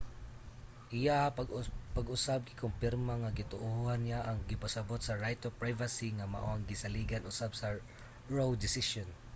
iyaha pag-usab gikompirma nga gituohan niya ang gipasabut sa right to privacy nga mao ang gisaligan usab sa roe desisyon